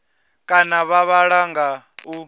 kana vha vhala nga u